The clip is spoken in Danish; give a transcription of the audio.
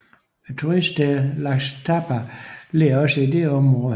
Turiststedet Ixtapa ligger også i dette området